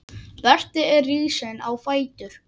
Berti er risinn á fætur.